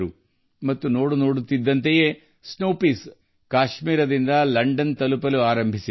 ಸ್ವಲ್ಪ ಸಮಯದೊಳಗೆ ಹಿಮ ಅವರೆಕಾಳು ಕಾಶ್ಮೀರದಿಂದ ಲಂಡನ್ ತಲುಪಲು ಪ್ರಾರಂಭಿಸಿತು